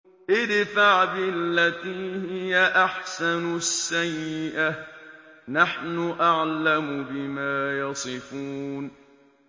ادْفَعْ بِالَّتِي هِيَ أَحْسَنُ السَّيِّئَةَ ۚ نَحْنُ أَعْلَمُ بِمَا يَصِفُونَ